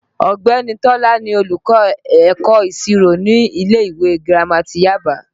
Ọ̀gbẹ́ni Tọ́lá ni olùkọ́ ẹ̀kọ́ ìṣirò ní ilé ìwé girama ti Yaba